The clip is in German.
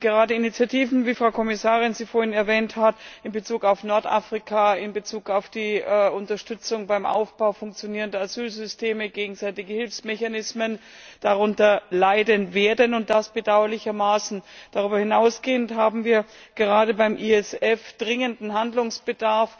Gerade Initiativen, wie die Frau Kommissarin sie vorhin erwähnt hat, in Bezug auf Nordafrika, in Bezug auf die Unterstützung beim Aufbau funktionierender Asylsysteme, gegenseitige Hilfsmechanismen, werden darunter leiden, und das bedauerlicherweise. Darüber hinausgehend haben wir gerade beim ESF dringenden Handlungsbedarf.